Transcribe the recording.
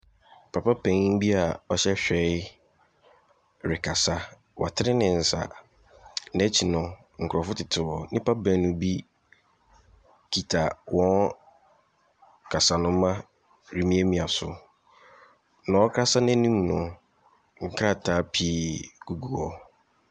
Papa panin bi a ɔhyɛ hwerɛe rekasa. Watene ne nsa. N'akyi no, nkurɔfo tete hɔ. Nnipa baanu bi kita wɔn kasanoma remiamia so. Nea ɔrekasa no anim no, nkrataa pii gugu hɔ.